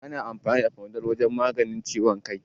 Ana amfani da fanado wajen magance ciwon kai